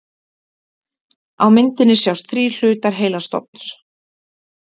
Á myndinni sjást þrír hlutar heilastofns.